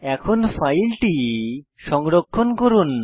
এখন ফাইলটি সংরক্ষণ করুন